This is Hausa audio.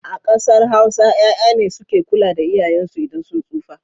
A ƙasar Hausa 'ya'ya ne suke kula da iyayensu idan sun tsufa.